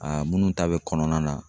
Aa munnu ta be kɔnɔna na